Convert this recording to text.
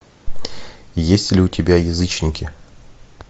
есть ли у тебя язычники